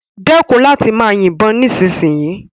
Dekun lati maa yibon nisinsinyii